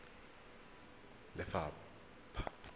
lephatla